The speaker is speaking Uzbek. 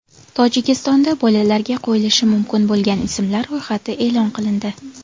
Tojikistonda bolalarga qo‘yilishi mumkin bo‘lgan ismlar ro‘yxati e’lon qilindi.